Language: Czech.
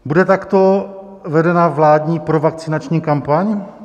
Bude takto vedena vládní provakcinační kampaň?